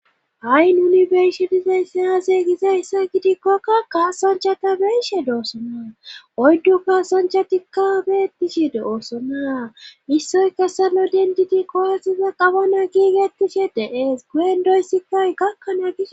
Ha'i nuni beishe dizay sayase gize issoy gidikkokka kasoncha ta beyishe doossonaa oydduka sonchatikka beettishi doossona issoy kessalo dentiti kooyasiza qabana giigettishe deees guyen doyssikkay gakkanaa gisso.